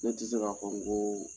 Ne tɛ se k'a fɔ n ko